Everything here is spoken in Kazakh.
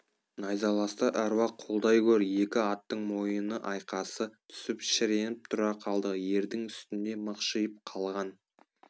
найзаласты әруақ қолдай гөр екі аттың мойыны айқасы түсіп шіреніп тұра қалды ердің үстінде мықшиып қалған